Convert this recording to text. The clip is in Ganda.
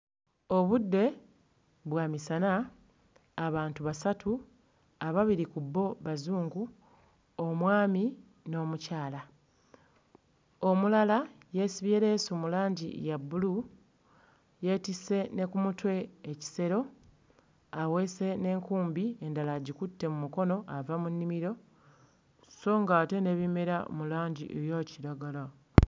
Obudde bwa misana, abantu basatu ababiri ku bo bazungu, omwami n'omukyala, omulala yeesibye leesu mu langi ya bbulu yeetisse ne ku mutwe ekisero aweese n'enkumbi endala agikutte mu mukono ava mu nnimiro sso ng'ate n'ebimera mu langi eya kiragala.